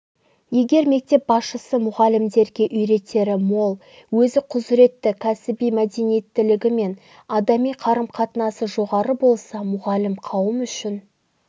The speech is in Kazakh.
егер мектеп басшысы мұғалімдерге үйретері мол өзі құзыретті кәсіби мәдениетілігі мен адами қарым-қатынасы жоғары болса мұғалім қауым үшін